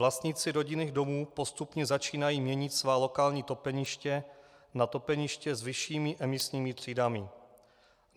Vlastníci rodinných domů postupně začínají měnit svá lokální topeniště na topeniště s vyššími emisními třídami.